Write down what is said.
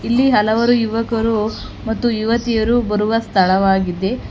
ಇಲ್ಲಿ ಹಲವಾರು ಯುವಕರು ಮತ್ತು ಯುವತಿಯರು ಬರುವ ಸ್ಥಳವಾಗಿದೆ.